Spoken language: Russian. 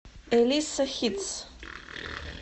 элисса хитс